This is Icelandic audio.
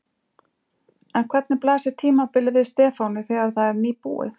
En hvernig blasir tímabilið við Stefáni þegar það er nýbúið?